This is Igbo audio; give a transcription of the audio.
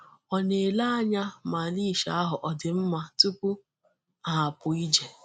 Ọ na-ele anya ma leash ahụ ọdị mma tupu ha apụ ije.